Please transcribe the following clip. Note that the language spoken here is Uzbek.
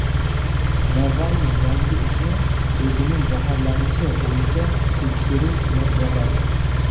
Navalniy yangi ishni o‘zining zaharlanishi bo‘yicha tekshiruv bilan bog‘ladi.